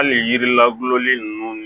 Hali yiri la bulolen ninnu